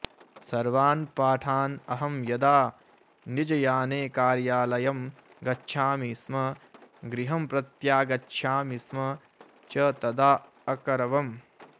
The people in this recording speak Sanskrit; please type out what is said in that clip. सर्वान् पाठान् अहं यदा निजयाने कार्यालयं गच्छामि स्म गृहं प्रत्यागच्छामि स्म च तदा अकरवम्